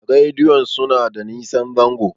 rediyon suna da nosan zango